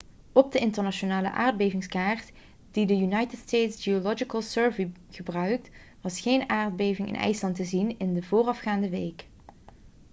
op de internationale aardbevingskaart die de united states geological survey gebruikt was geen aardbevingen in ijsland te zien in de voorafgaande week